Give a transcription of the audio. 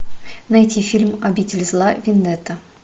найти фильм обитель зла вендетта